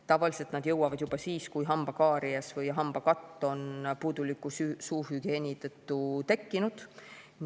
Tavaliselt nad jõuavad siis, kui hambakaaries või ‑katt on puuduliku suuhügieeni tõttu juba tekkinud.